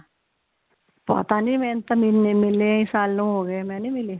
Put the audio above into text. ਪਤਾ ਨੀ ਮੈਨੂੰ ਤੇ ਮਿਲੇ ਸਾਲੋ ਹੋਗੇ ਮੈ ਨੀ ਮਿਲੀ